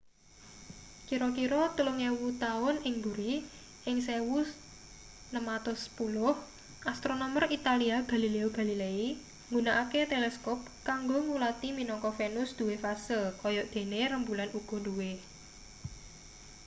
kira-kira telung ewu taun ing buri ing 1610 astronomer italia galileo galilei nggunakake teleskop kanggo ngulati minangka venus duwe fase kaya dene rembulan uga duwe